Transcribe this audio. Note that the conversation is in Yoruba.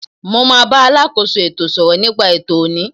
Mo ma bá alákóso ètò sọ̀rọ̀ nípa ètò ọ̀ní.